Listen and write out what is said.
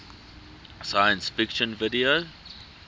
science fiction video